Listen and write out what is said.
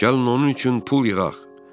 Gəlin onun üçün pul yığaq.